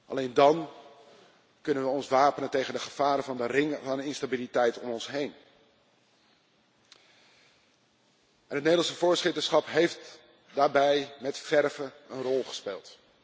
Alleen dan kunnen we ons wapenen tegen de gevaren van de ringen van instabiliteit om ons heen. Het Nederlandse voorzitterschap heeft daarbij met verve een rol gespeeld.